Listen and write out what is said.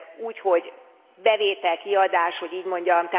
Úgy, hogy bevétel kiadás, hogy így mondjam.